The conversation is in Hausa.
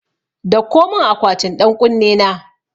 Dauko mun akwatin ɗan ƙunne na